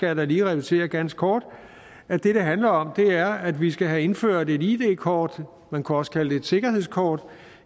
jeg da lige repetere ganske kort at det det handler om er at vi skal have indført et id kort man kunne også kalde det et sikkerhedskort